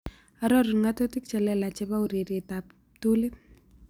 Arorun ng'atutik che lelach chepo urerietap ptuliit